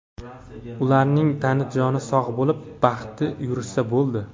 Ularning tani-joni sog‘ bo‘lib, baxtli yurishsa bo‘ldi.